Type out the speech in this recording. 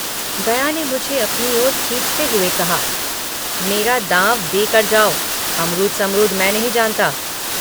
गया ने मुझे अपनी ओर खींचते हुए कहा मेरा दाँव देकर जाओ अमरूद समरूद मैं नहीं जानता।